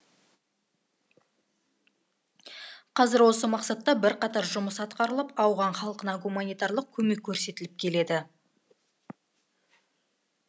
қазір осы мақсатта бірқатар жұмыс атқарылып ауған халқына гуманитарлық көмек көрсетіліп келеді